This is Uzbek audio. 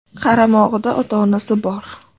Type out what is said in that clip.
Qaramog‘ida ota-onasi bor.